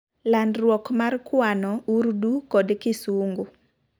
landruok mar kwano, urdu, kod kisungu